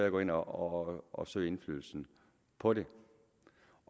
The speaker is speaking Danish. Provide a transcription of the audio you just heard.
at gå ind og og søge indflydelsen på det